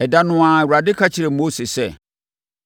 Ɛda no ara, Awurade ka kyerɛɛ Mose sɛ,